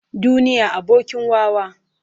Duniya abokin wawa.